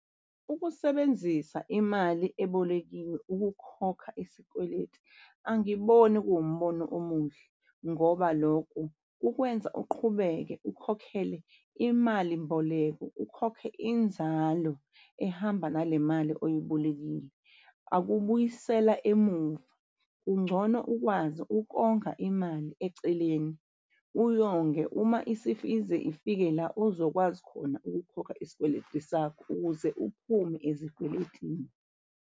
Ukusebenzisa imali ebolekiwe ukukhokha isikweletu. Angiboni kuwumbono omuhle ngoba lokho kukwenza uqhubeke ukhokhele imalimboleko ukhokhe inzalo ehamba nale mali oyibolekile. Akubuyisela emuva kungcono ukwazi ukonga imali eceleni uyonge uma ize ifike la ozokwazi khona ukukhokha isikweletu sakho ukuze uphume ezikweletini.